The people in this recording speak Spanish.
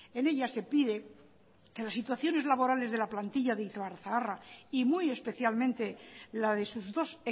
en ella se pide que las situaciones laborales de la plantilla de ibarzaharra y muy especialmente la de sus dos